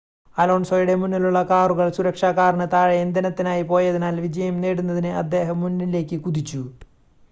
അലോൺസോയുടെ മുന്നിലുള്ള കാറുകൾ സുരക്ഷാ കാറിന് താഴെ ഇന്ധനത്തിനായി പോയതിനാൽ വിജയം നേടുന്നതിന് അദ്ദേഹം മുന്നിലേക്ക് കുതിച്ചു